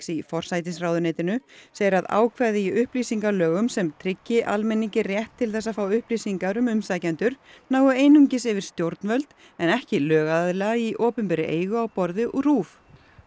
í forsætisráðuneytinu segir að ákvæði í upplýsingalögum sem tryggi almenningi rétt til þess að fá upplýsingar um umsækjendur nái einungis yfir stjórnvöld en ekki lögaðila í opinberri eigu á borð við RÚV